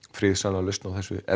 friðsamlega lausn á þessu er